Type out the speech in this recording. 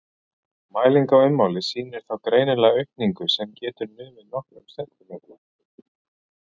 Mæling á ummáli sýnir þá greinilega aukningu sem getur numið nokkrum sentímetrum.